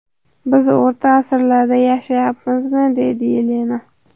Biz o‘rta asrlarda yashayapmizmi?”, deydi Yelena.